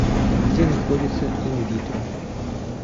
где находится инвитро